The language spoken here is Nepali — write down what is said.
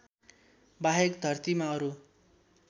बाहेक धरतीमा अरु